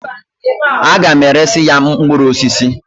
A ga m eresi ya mkpụrụ osisi.